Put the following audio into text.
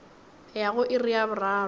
ya go iri ya boraro